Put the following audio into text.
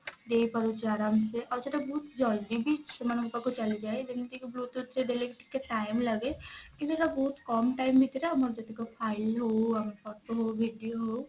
ଦେଇପାରୁଛୁ ଆରମ ସେ ଆଉ ସେଟା ବହୁତ ଜଲଦି ବି ସେମାନଙ୍କ ପାଖକୁ ଚାଲିଯାଏ ଯେମତି କି bluetooth ରେ ଦେଲେ ଟିକେ time ଲାଗେ କିନ୍ତୁ ଏଟା ବହୁତ କମ time ଭିତରେ ଆମର ଯେତକ file ହଉ photo ହଉ video ହଉ